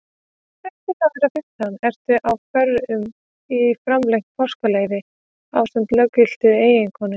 Eftir aðra fimmtán ertu á förum í framlengt páskaleyfi ásamt löggiltri eiginkonu.